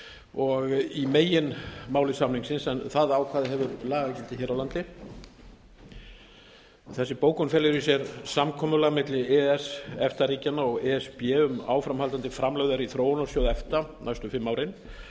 og í meginmáli samningsins en það ákvæði hefur lagagildi hér á landi þessi bókun felur í sér samkomulag milli e e s efta ríkjanna og e s b um áframhaldandi framlög í þróunarsjóð efta næstu fimm árin